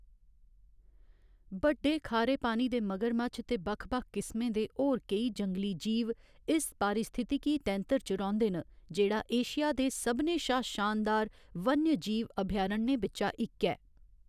बड्डे खारे पानी दे मगरमच्छ ते बक्ख बक्ख किस्में दे होर केई जंगली जीव इस पारिस्थितिकी तैंतर च रौंह्‌‌‌दे न, जेह्‌‌ड़ा एशिया दे सभनें शा शानदार वन्यजीव अभयारण्यें बिच्चा इक ऐ।